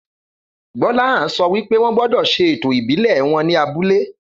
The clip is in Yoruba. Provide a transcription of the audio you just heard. Gbóláhàn sọ wípé wọn gbódò ṣe ètò ìbílè wón ní abúlé